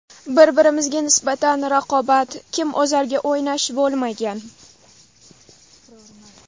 Bir-birimizga nisbatan raqobat, kim o‘zarga o‘ynash bo‘lmagan.